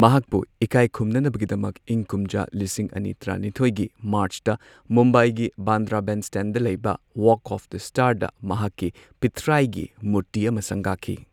ꯃꯍꯥꯛꯄꯨ ꯏꯀꯥꯢꯈꯨꯝꯅꯅꯕꯒꯤꯗꯃꯛ ꯏꯪ ꯀꯨꯝꯖꯥ ꯂꯤꯁꯤꯡ ꯑꯅꯤ ꯇꯔꯥꯅꯤꯊꯣꯏꯒꯤ ꯃꯥꯔꯆꯇ ꯃꯨꯝꯕꯥꯢꯒꯤ ꯕꯥꯟꯗ꯭ꯔ ꯕꯦꯟꯁ꯭ꯇꯦꯟꯗ ꯂꯩꯕ ꯋꯥꯒ ꯑꯣꯐ ꯗ ꯁ꯭ꯇꯥꯔꯗ ꯃꯍꯥꯛꯀꯤ ꯄꯤꯊ꯭ꯔꯥꯢꯒꯤ ꯃꯨꯔꯇꯤ ꯑꯃ ꯁꯪꯒꯥꯈꯤ꯫